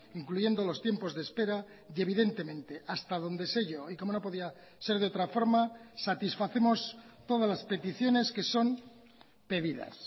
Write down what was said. incluyendo los tiempos de espera y evidentemente hasta donde se yo y como no podía ser de otra forma satisfacemos todas las peticiones que son pedidas